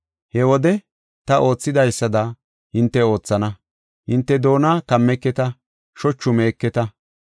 He wode ta oothidaysada hinte oothana. Hinte doona kammeketa; shochu meeketa.